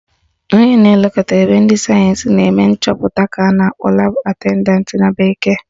Onye na-elekọta ebe ndị sayensị na-eme nchọpụta ka a na-akpọ Lab attendant na bekee